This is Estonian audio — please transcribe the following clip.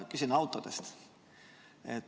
Küsin autode kohta.